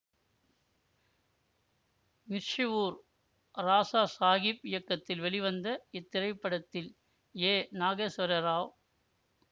மிர்ஷ்வூர் ராசா சாகீப் இயக்கத்தில் வெளிவந்த இத்திரைப்படத்தில் ஏ நாகேஸ்வர ராவ்